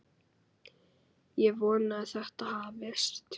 Ég vona að þetta hafist.